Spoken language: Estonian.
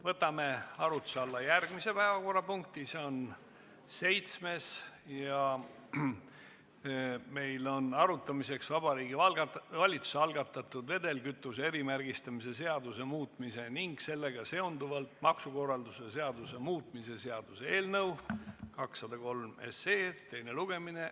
Võtame arutluse alla järgmise päevakorrapunkti, see on seitsmes: Vabariigi Valitsuse algatatud vedelkütuse erimärgistamise seaduse muutmise ning sellega seonduvalt maksukorralduse seaduse muutmise seaduse eelnõu 203 teine lugemine.